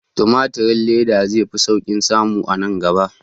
Timatirin leda zai fi sauƙin samu a nan gaba